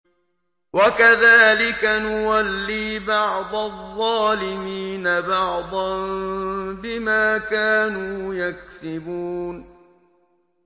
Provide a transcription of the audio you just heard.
وَكَذَٰلِكَ نُوَلِّي بَعْضَ الظَّالِمِينَ بَعْضًا بِمَا كَانُوا يَكْسِبُونَ